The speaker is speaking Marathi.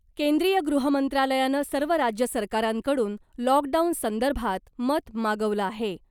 केंद्रीय गृहमंत्रालयानं सर्व राज्य सरकारांकडून लॉकडाऊन संदर्भात मत मागवलं आहे .